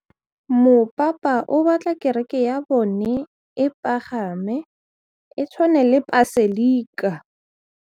Mopapa o batla kereke ya bone e pagame, e tshwane le paselika.